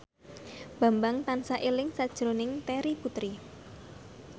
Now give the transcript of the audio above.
Bambang tansah eling sakjroning Terry Putri